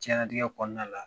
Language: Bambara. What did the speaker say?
Diɲɛnlatigɛ kɔnɔna la